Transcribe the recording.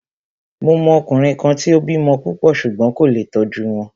Mo mọ ọkùnrin kan tí o bímọ púpọ̀ ṣùgbón kò lé tó tọ́jú wọn.